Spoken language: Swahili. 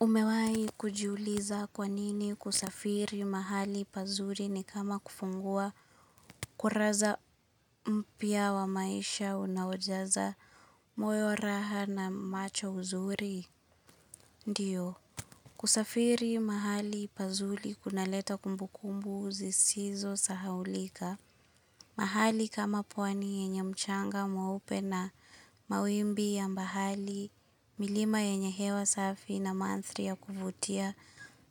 Umewai kujuliza kwa nini kusafiri mahali pazuri ni kama kufungua kuraza mpya wa maisha unawajaza moyo raha na macho uzuri? Ndiyo. Kusafiri mahali pazuri kuna leta kumbukumbu uzisizo sahawulika. Mahali kama pwani yenye mchanga mwa upe na mawimbi ya mbahali, milima yenye hewa safi na manthri ya kuvutia,